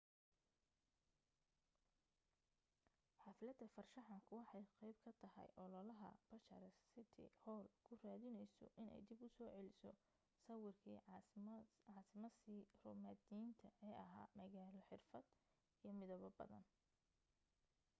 xaflada farshaxanku waxay qayb ka tahay ololaha bucharest city hall ku raadinayso inay dib u soo celiso sawirkii caasimasii roomaaniyiinta ee ahaa magaalo xirfad iyo midabo badan